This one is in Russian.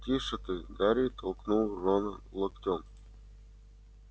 тише ты гарри толкнул рона локтем